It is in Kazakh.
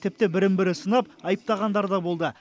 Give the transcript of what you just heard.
тіпті бірін бірі сынап айыптағандар да болды